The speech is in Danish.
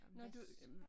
Nå du jamen